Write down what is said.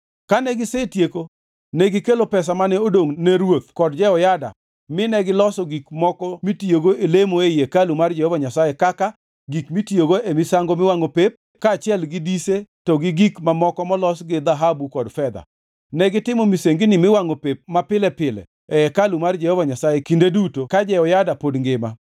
Kane gisetieko, negikelo pesa mane odongʼ ne ruoth kod Jehoyada mi negiloso gik moko mitiyogo e lemo ei hekalu mar Jehova Nyasaye kaka: gik mitiyogo e misango miwangʼo pep kaachiel gi dise to gi gik mamoko molos gi dhahabu kod fedha. Negitimo misengini miwangʼo pep mapile pile e hekalu mar Jehova Nyasaye kinde duto ka Jehoyada pod ngima.